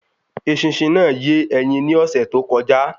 Eṣinṣin náà yé ẹyin ni ọsẹ too kọjá